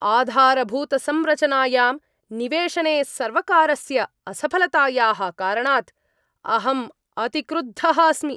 आधारभूतसंरचनायां निवेशने सर्वकारस्य असफलतायाः कारणात् अहम् अतिक्रुद्धः अस्मि।